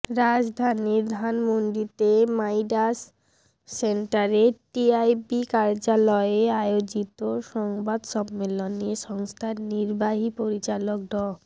রাজধানীর ধানমণ্ডিতে মাইডাস সেন্টারে টিআইবি কার্যালয়ে আয়োজিত সংবাদ সম্মেলনে সংস্থার নির্বাহী পরিচালক ড